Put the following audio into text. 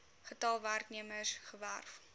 getal werknemers gewerf